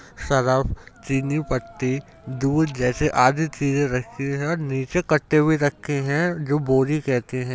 Surf चीनी पत्ती दूध जैसी आदि चीजे रखी हैं नीचे कट्टे भी रखे हैं जो बोरी कहते हैं।